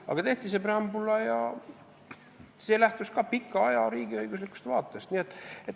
" Aga tehti see preambul ja see lähtus ka pika aja riigiõiguslikust vaatest.